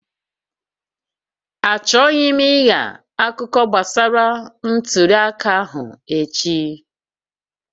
Achọghị m ịgha akụkọ gbasara ntuli aka ahụ echi